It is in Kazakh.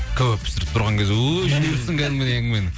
кәуап пісіріп тұрған кезде өй жіберіпсің кәдімгідей әңгімені